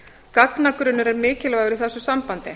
gagnagrunnur er mikilvægur í þessu sambandi